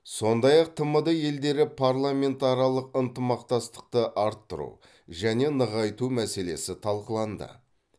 сондай ақ тмд елдері парламентаралық ынтымақтастықты арттыру және нығайту мәселесі талқыланды